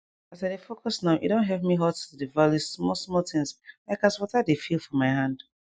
as i dey focus nowe don help me halt to dey value small small things like as water dey feel for my hand